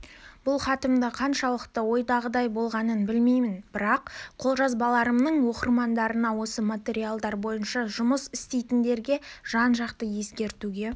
бұл хатымда қаншалықты ойдағыдай болғанын білмеймін бірақ қолжазбаларымның оқырмандарына осы материалдар бойынша жұмыс істейтіндерге жан-жақты ескертуге